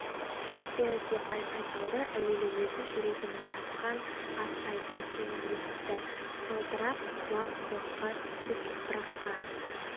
шық бері деп айқай салды әуелі өзі жүрегінің шапқан аттай тарсылын есітті сылдырап құлақ-құлаққа түсіп топыраққа